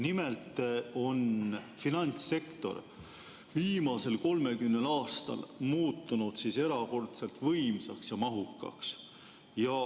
Nimelt on finantssektor viimasel 30 aastal muutunud erakordselt võimsaks ja mahukaks.